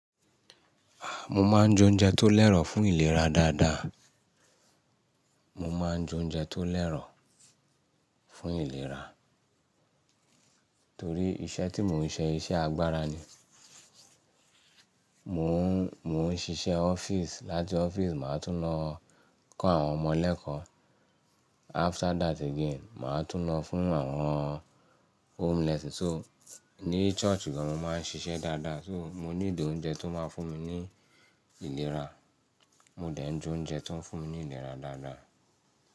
A! Mo máa ń jó oúnjẹ tó lẹ́rọ̀ fún ìlera dáadáa. Mo máa ń jó oúnjẹ tó lẹ́rọ̀ fún ìlera. Torí iṣẹ́ tí mò ń ṣe iṣẹ́ agbára ni. Mò ń, mò ń ṣiṣẹ́ ọ́fíìsì, láti ọ́fíìsì màá tún lọ kọ́ àwọn ọmọ lẹ́kọ̀ọ́. After that again, màá tún lọ fún àwọn home lesson. So, ní church gan-an mo máa ń ṣiṣẹ́ dáadáa. So, mo nílò oúnjẹ tó máa ń fún mi ní ìlera. Mo dẹ̀ ń jó oúnjẹ tó ń fún mi ní ìlera dáadáa.